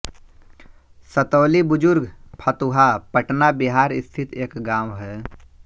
सतौलीबुजुर्ग फतुहा पटना बिहार स्थित एक गाँव है